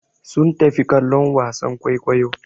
Sun tafi kallon wasan kwaikwayo.